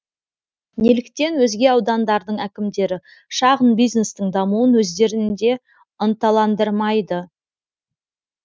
неліктен өзге аудандардың әкімдері шағын бизнестің дамуын өздерінде ынталандырмайды